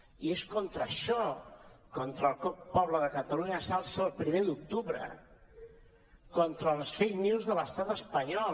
i és contra això contra això que el poble de catalunya s’alça el primer d’octubre contra les fake news de l’estat espanyol